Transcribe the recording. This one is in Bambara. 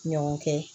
Ɲɔgɔn kɛ